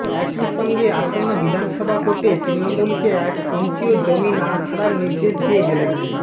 একই সঙ্গে আসন্ন বিধানসভা ভোটে তৃণমূলকে এক ইঞ্চিও জমি না ছাড়ার নির্দেশ দিয়ে গেলেন